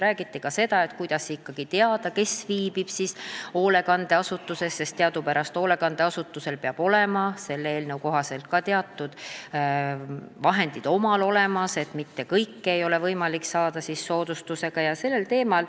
Räägiti ka sellest, kuidas ikkagi teada, kes viibib hoolekandeasutuses, sest teadupärast hoolekandeasutusel endal peavad selle eelnõu kohaselt olema teatud vahendid olemas, mitte kõike ei ole võimalik saada soodustusega.